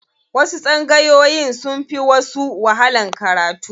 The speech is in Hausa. Wasu tsangayoyin sun fi wasu wahalan karatu.